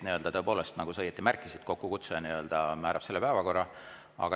Tõepoolest, nagu sa õigesti märkisid, kokkukutsuja nii‑öelda määrab päevakorra.